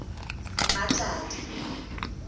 mmatladi